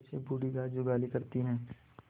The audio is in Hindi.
जैसे बूढ़ी गाय जुगाली करती है